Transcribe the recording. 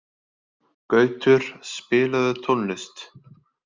Gautur, spilaðu tónlist.